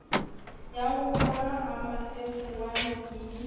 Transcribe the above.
ya roma ha mafefowane ke